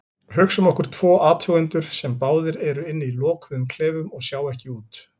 Hugsum okkur tvo athugendur sem báðir eru inni í lokuðum klefum og sjá ekki út.